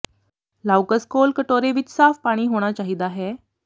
ਲਾਓਕਸ ਕੋਲ ਕਟੋਰੇ ਵਿਚ ਸਾਫ਼ ਪਾਣੀ ਹੋਣਾ ਚਾਹੀਦਾ ਹੈ